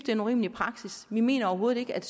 er en urimelig praksis vi mener overhovedet ikke at